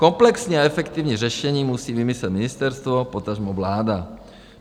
Komplexní a efektivní řešení musí vymyslet ministerstvo, potažmo vláda.